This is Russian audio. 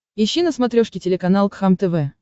ищи на смотрешке телеканал кхлм тв